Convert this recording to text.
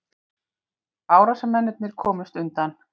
Árásarmennirnir komust undan